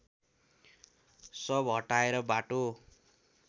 शव हटाएर बाटो